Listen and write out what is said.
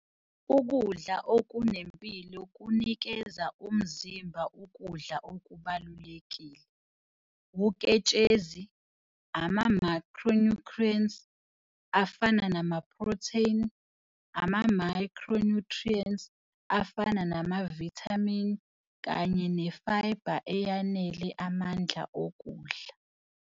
Ukudla okunempilo kunikeza umzimba ukudla okubalulekile- uketshezi, ama-macronutrients afana namaprotheni, ama-micronutrients afana namavithamini, kanye ne-fiber eyanele amandla okudla.